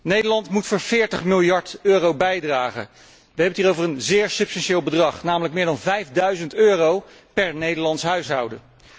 Nederland moet voor 40 miljard euro bijdragen. Wij hebben het hier over een zeer substantieel bedrag, namelijk meer dan vijfduizend euro per Nederlands huishouden.